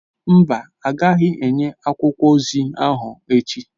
Mba, a ga-enye akwụkwọ ozi ahụ echi